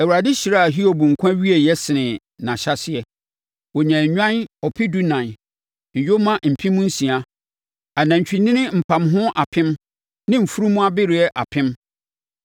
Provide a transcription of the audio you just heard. Awurade hyiraa Hiob nkwa awieeɛ senee ne ahyɛaseɛ. Ɔnyaa nnwan ɔpedunan, nyoma mpem nsia, anantwinini mpamho apem ne mfunumu abereɛ apem.